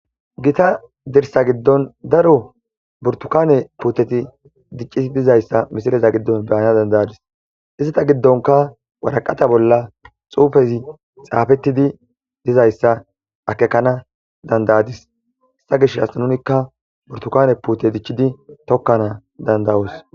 Giththa dirssa giddon daro burtikane putteti dic'ishshen dizzaga hamisilen ta be'anas danida'adis isita giddonikka waraqatta bolla xuffezzi xafetidi dizzaysa akekanas dand'adis ta be'ishshen burtikane putte dichchidi tokanas danda'os.